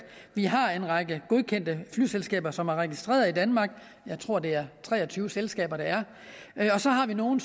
vi har en række godkendte flyselskaber som er registreret i danmark jeg tror det er tre og tyve selskaber der er og så har vi nogle